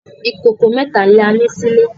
Ikókó mètá lá ni silé